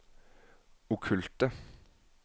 okkulte